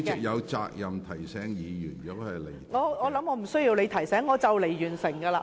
我相信我不用你提醒，我即將完成發言。